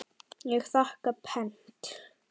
Ég þakka pent.